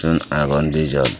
egun agon de jon.